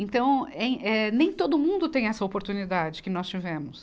Então, em eh, nem todo mundo tem essa oportunidade que nós tivemos.